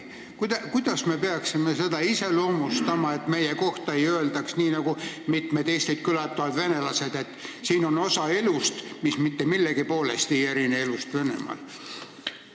Kuidas me peaksime seda iseloomustama, et meie kohta ei öeldaks nii, nagu ütlevad mitmed Eestit külastavad venelased, et siin on osa elust, mis mitte millegi poolest ei erine elust Venemaal?